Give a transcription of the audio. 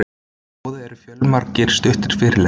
Í boði eru fjölmargir stuttir fyrirlestrar.